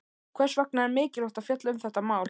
Hvers vegna er mikilvægt að fjalla um þetta mál?